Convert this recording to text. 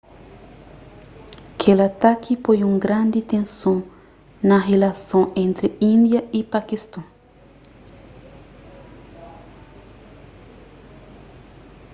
kel ataki poi un grandi tenson na rilason entri índia y pakiston